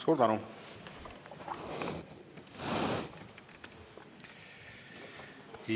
Suur tänu!